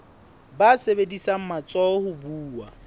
ba sebedisang matsoho ho buwa